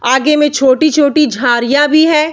आगें में छोटी-छोटी झारियां भी हैं।